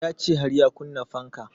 Ya ce har ya kunna fanka